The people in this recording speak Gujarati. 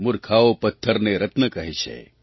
મૂર્ખાઓ પથ્થરને રત્ન કહે છે